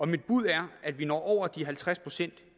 mit bud er at vi når over de halvtreds procent